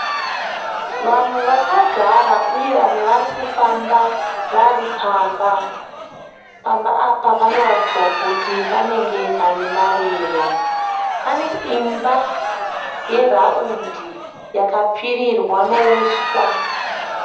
Vanhu vakagara uye vamwe vari kufamba vari pamba. Pamba apa panoratidza kuti panenge pane mariro. Pane imba yeraundi yakapfirirwa neuswa.